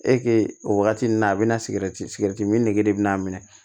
o wagati nin na a bi na sigɛriti mi sirɛti min nege bɛ n'a minɛ